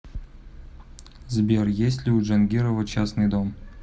сбер есть ли у джангирова частный дом